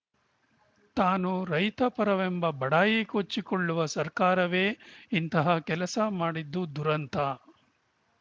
ತಾನು ರೈತ ಪರವೆಂಬ ಬಡಾಯಿ ಕೊಚ್ಚಿಕೊಳ್ಳುವ ಸರ್ಕಾರವೇ ಇಂತಹ ಕೆಲಸ ಮಾಡಿದ್ದು ದುರಂತ